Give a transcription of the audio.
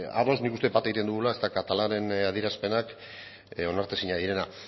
ados nik uste bat egiten dugula ezta katalanen adierazpenak onartezina direnak